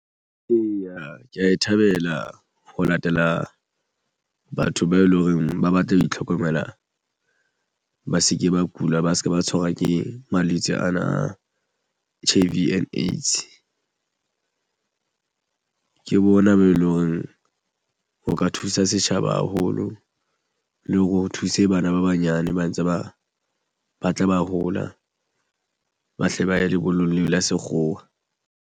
Eya, ke ya e thabela ho latela batho bao e leng hore ba batle ho itlhokomela ba se ke ba kula ba se ke ba tshwarwa ke malwetse ana H_I _V and AIDS. Ke bona bo loreng ho ka thusa setjhaba haholo le hore o thuse bana ba banyane ba ntse ba tla ba hola. Ba hle ba ye lebollong leo la sekgowa.